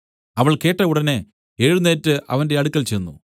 അവൾ കേട്ട ഉടനെ എഴുന്നേറ്റ് അവന്റെ അടുക്കൽ ചെന്ന്